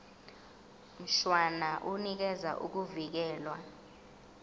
mshwana unikeza ukuvikelwa